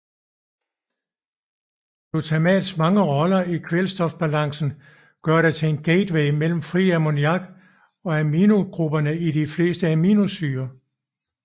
Glutamats mange roller i kvælstofbalancen gør det til en gateway mellem fri ammoniak og aminogrupperne i de fleste aminosyrer